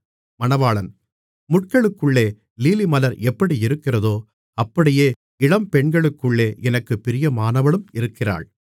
முட்களுக்குள்ளே லீலிமலர் எப்படியிருக்கிறதோ அப்படியே இளம்பெண்களுக்குள்ளே எனக்குப் பிரியமானவளும் இருக்கிறாள் மணவாளி